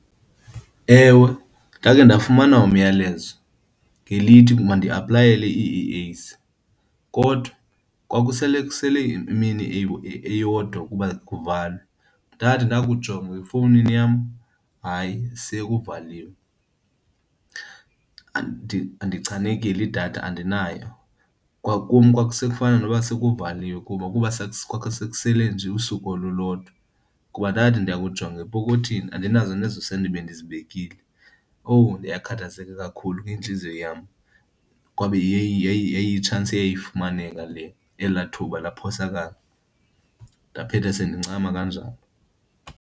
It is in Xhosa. Ewe, ndakhe ndafumana umyalezo ngelithi mandiaplayele ii-E_As kodwa kwakusele kusele imini eyodwa ukuba kuvalwe. Ndathi ndakujonga efowunini yam, hayi sekuvaliwe. Ndichanekile, idatha andinayo. Kwakum kwakusekufana noba sekuvaliwe kuba kwakusekusele nje usuku olulodwa. Kuba ndathi ndakujonga epokothini, andinazo nezoosenti bendizibekile. Owu, yakhathazeka kakhulu ke intliziyo yam! Kwabe yayi-chance eyayifumaneka le, elaa thuba laphosakala. Ndaphetha sendincama kanjalo.